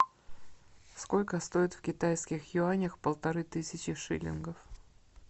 сколько стоит в китайских юанях полторы тысячи шиллингов